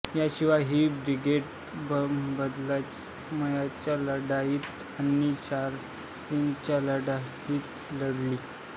याशिवाय ही ब्रिगेड बदगामच्या लढाईत आणि शालाटेंगच्या लढाईतही लढली